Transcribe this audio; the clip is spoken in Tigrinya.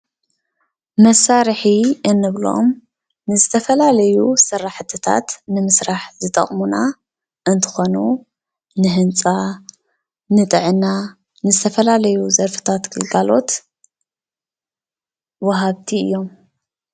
መሳርሒ እንብሎም ንዝተፈላለዩ ስራሕትታት ንምስራሕ ዝጠቕሙና እንትኾኑ ንህንፃ፣ ንጥዕና፣ ንዝተፈላለዩ ዘርፍታት ግልጋሎት ወሃብቲ እዮም፡፡